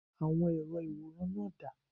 Àwọn èrò ìwòran náà dà?